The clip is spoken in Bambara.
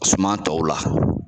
Suma tɔw la